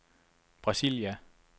Brasilia